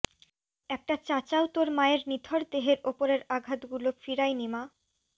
একটা চাচাও তোর মায়ের নিথর দেহের উপরের আঘাতগুলো ফিরায়নি মা